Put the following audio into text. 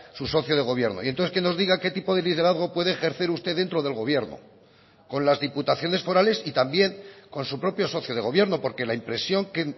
su socio de gobierno y entonces que nos diga qué tipo de liderazgo puede ejercer usted dentro del gobierno con las diputaciones forales y también con su propio socio de gobierno porque la impresión que